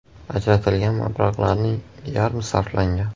Ajratilgan mablag‘larning yarmi sarflangan.